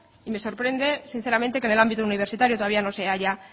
y me sorprende sinceramente que en el ámbito universitario todavía no se haya